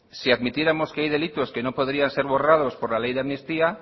si admitiéramos que hay delitos que no podrían ser borrados por la ley de amnistía